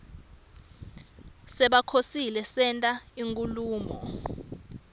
sebakhoseli senta inkhulumo